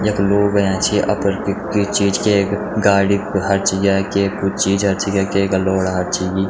यख लोग अयां छी अपर कुई चीच केक गाड़ी हर्च ग्याय केक कुछ चीज हर्च ग्याय केक लौड़ा हर्च गि।